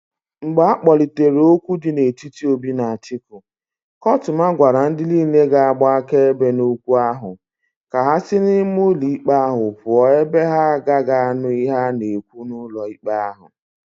Mgbe akpolitere okwu di n'etiti Obi na Atiku, kotuma gwara ndi niile ga-agba akaebe n'okwu ahu ka ha si n'ime ulo ikpe ahu puo ebe ha agagi anu ihe a na-ekwu n'ulo ikpe ahu.